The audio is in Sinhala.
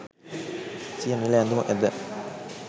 සිය නිල ඇඳුම ඇඳ